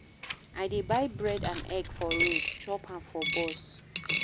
I dey buy bread and egg for road, chop am for bus.